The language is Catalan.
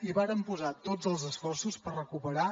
hi vàrem posar tots els esforços per recuperar